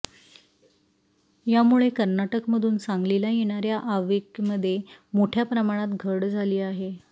यामुळे कर्नाटकमधून सांगलीला येणाऱ्या आवकेमध्ये मोठ्या प्रमाणात घट झाली आहे